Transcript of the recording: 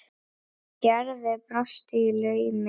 Gerður brosti í laumi.